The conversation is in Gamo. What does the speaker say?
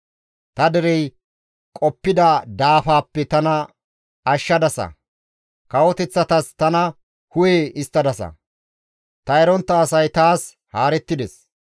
«Ta derey qoppida daafaappe tana ashshadasa; kawoteththatas tana hu7e histtadasa. Ta erontta asay taas haarettides.